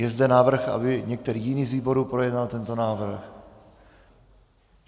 Je zde návrh, aby některý jiný z výborů projednal tento návrh?